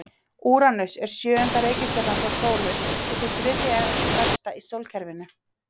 Úranus er sjöunda reikistjarnan frá sólu og sú þriðja stærsta í sólkerfinu.